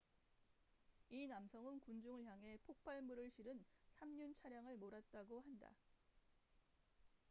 이 남성은 군중을 향해 폭발물을 실은 3륜 차량을 몰았다고 한다